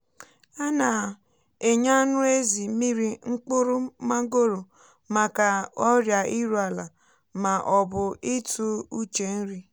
a na-enye anụ ezi mmiri mkpụrụ mangoro maka ọrịa iru ala ma ọ bụ ịtụ uche nri.